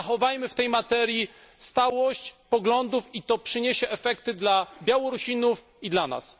Zachowajmy w tej materii stałość poglądów i to przyniesie efekty dla Białorusinów i dla nas.